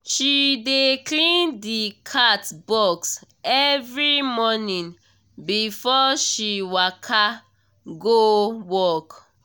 she dey clean the cat box every morning before she waka go work